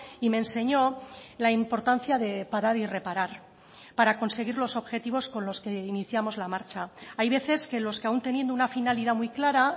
y me enseñó la importancia de parar y reparar para conseguir los objetivos con los que iniciamos la marcha hay veces que los que aun teniendo una finalidad muy clara